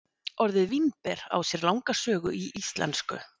Orðið vínber á sér langa sögu í íslensku.